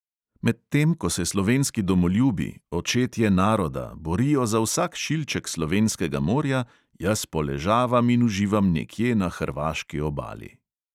Medtem ko se slovenski domoljubi, očetje naroda, borijo za vsak šilček slovenskega morja, jaz poležavam in uživam nekje na hrvaški obali.